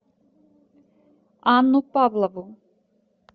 анну павлову